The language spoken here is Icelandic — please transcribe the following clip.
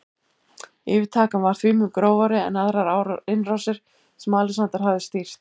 Yfirtakan var því mun grófari en aðrar innrásir sem Alexander hafði stýrt.